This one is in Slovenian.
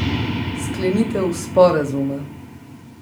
Sklenitev sporazuma.